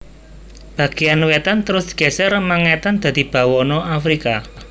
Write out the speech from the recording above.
Bagéyan wètan terus geser mengètan dadi Bawana Afrika